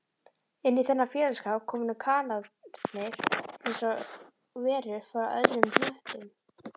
Inní þennan félagsskap komu kanarnir einsog verur frá öðrum hnöttum